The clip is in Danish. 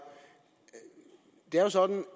sådan